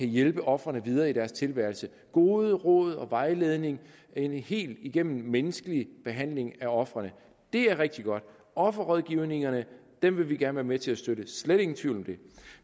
hjælper ofrene videre i deres tilværelse gode råd og vejledning en helt igennem menneskelig behandling af ofrene det er rigtig godt offerrådgivningerne vil vi gerne være med til at støtte slet ingen tvivl om det